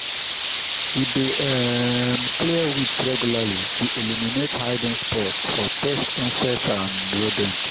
we dey um clear weeds regularly to eliminate hiding spots for pest insects and rodents.